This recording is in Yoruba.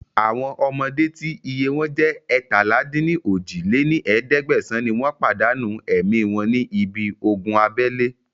Àwọn ọmọdé tí iye wọn jẹ́ eétalá-dín-ní-ojì lé ní ẹ̀ẹ́dẹ́gbẹ́sán ni wọn pàdánù ẹ̀mí wọn ní ibi ogun abẹ́lé